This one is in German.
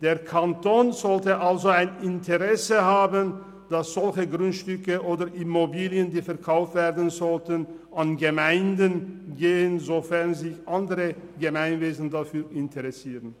Der Kanton sollte also ein Interesse daran haben, dass Grundstücke oder Immobilien, die verkauft werden sollen, an Gemeinden gehen, sofern sich andere Gemeinwesen dafür interessieren.